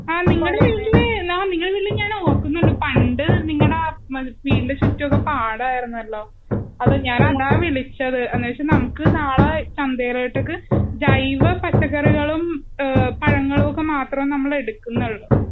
ആ നിങ്ങളുടെ വീട്ടില് ഞാൻ ഓർക്കുന്നുണ്ട് പണ്ട് നിങ്ങടെ ആ വീടിന്റെ ചുറ്റുവൊക്കെ പാടം ആയിരുന്നല്ലോ? അതാ ഞാൻ വിളിച്ചത്. അന്നേച് നാളെ ചന്തയിലെട്ടക്ക് ജൈവ പച്ചക്കറികളും . അഹ് പഴങ്ങളും മാത്രേ നമ്മളെടുക്കുന്നുള്ളു?